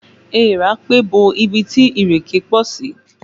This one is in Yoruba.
Èèrà pé bo ibi tí ìrèké pọ̀ sí